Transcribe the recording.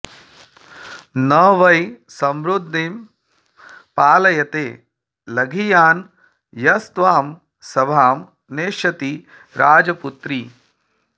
न वै समृद्दिं पालयते लघीयान् यस्त्वां सभां नेष्यति राजपुत्रि